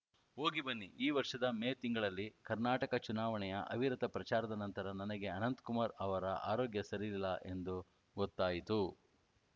ಹೋಗಿಬನ್ನಿ ಈ ವರ್ಷದ ಮೇ ತಿಂಗಳಲ್ಲಿ ಕರ್ನಾಟಕ ಚುನಾವಣೆಯ ಅವಿರತ ಪ್ರಚಾರದ ನಂತರ ನನಗೆ ಅನಂತಕುಮಾರ್‌ ಅವರ ಆರೋಗ್ಯ ಸರಿಯಿಲ್ಲ ಎಂದು ಗೊತ್ತಾಯಿತು